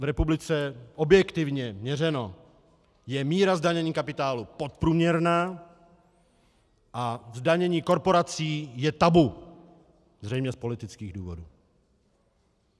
V republice, objektivně měřeno, je míra zdanění kapitálu podprůměrná a zdanění korporací je tabu, zřejmě z politických důvodů.